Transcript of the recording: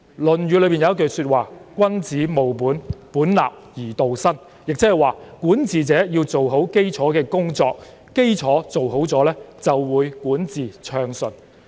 《論語》有一句話是"君子務本，本立而道生"，即是管治者要做好基礎的工作，基礎做好了，就會管治暢順。